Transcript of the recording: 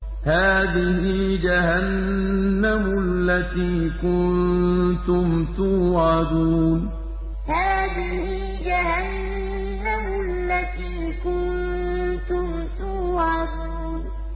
هَٰذِهِ جَهَنَّمُ الَّتِي كُنتُمْ تُوعَدُونَ هَٰذِهِ جَهَنَّمُ الَّتِي كُنتُمْ تُوعَدُونَ